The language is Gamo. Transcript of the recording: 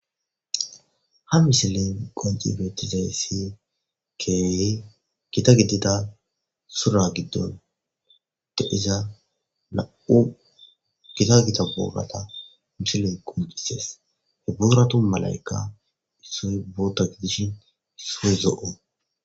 ha misilen qonci beettizayssi keewe gita giddida sura giddon deiza na7u gita gita boogata mishilen qomcisees he bouratu malaykka issoy bootaki dishin soo zo7o